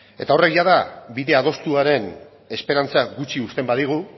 horrek jada bide adostuaren esperantza gutxi uzten badigu